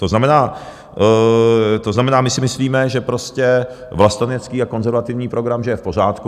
To znamená, my si myslíme, že prostě vlastenecký a konzervativní program, že je v pořádku.